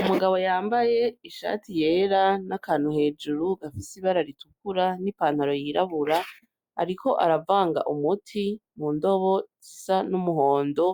Umugabo yambaye ishati yera nakantu hejuru gafise ibara ritukura n' ipantaro yirabura ariko aravanga umuti mu ndobo isa n' umuhondo